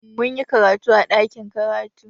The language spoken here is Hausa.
Mun yi karatu a ɗakin karatu.